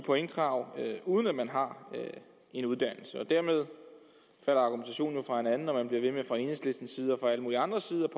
pointkrav uden at man har en uddannelse dermed falder argumentationen jo fra hinanden når man fra enhedslisten og alle mulige andres side